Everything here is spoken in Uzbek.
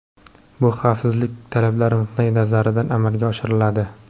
Bu xavfsizlik talablari nuqtai nazaridan amalga oshiriladi.